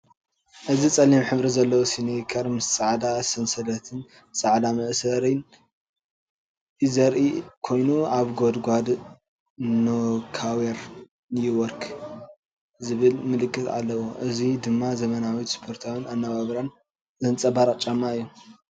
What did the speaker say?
እዚ ጸሊም ሕብሪ ዘለዎ ስኒከር ምስ ጻዕዳ ሰንሰለትን ጻዕዳ መእሰሪ ዘርኢ ኮይኑ፡ ኣብ ጎድኑ “ሮካዌር ኒውዮርክ” ዝብል ምልክት ኣለዎ። እዚ ደማ ዘመናዊነትን ስፖርታዊ ኣነባብራን ዘንጸባርቕ ጫማ እዩ።